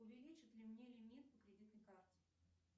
увеличат ли мне лимит по кредитной карте